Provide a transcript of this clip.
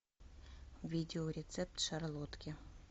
видео рецепт шарлотки